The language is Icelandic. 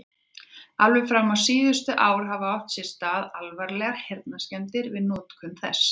Alveg fram á síðustu ár hafa átt sér stað alvarlegar heyrnarskemmdir við notkun þess.